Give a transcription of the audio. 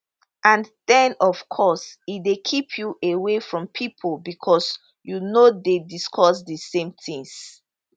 and den of course e dey keep you away from pipo becos you no dey discuss di same tins